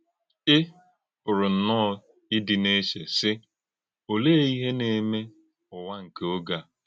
Ị pụ̀rụ̀ nnọọ ìdị n’eché, sị: ‘Òlee ìhè na - èmé Ụ́wà nke ògé a?’